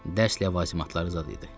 Dərs ləvazimatları zad idi.